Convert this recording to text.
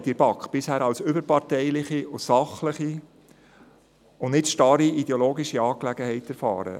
Ich habe die Kommissionsarbeit in der BaK als überparteiliche und sachliche und nicht als starre, ideologische Angelegenheit erlebt.